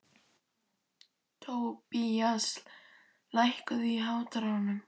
Tobías, lækkaðu í hátalaranum.